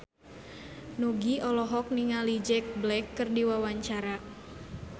Nugie olohok ningali Jack Black keur diwawancara